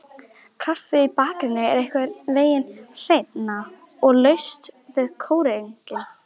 Kaffið í bakaríinu er einhvernveginn hreinna, og laust við korginn.